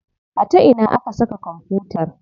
A ta ina aka saka kwamfutar?